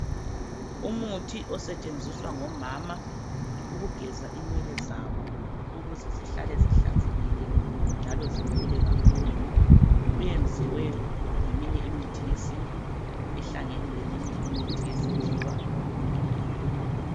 Umuthi osetshenziswa ngomama ukugeza inwele zabo ukuze zihlale zihlanzekileyo njalo zikhule kakhulu uwenziye ngeminye imithi yesintu ehlangene leminye imithi yesikhiwa.